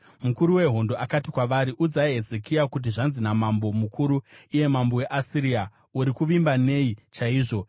Mukuru wehondo akati kwavari, “Udzai Hezekia kuti: “ ‘Zvanzi namambo mukuru, iye mambo weAsiria: Uri kuvimba nei chaizvo?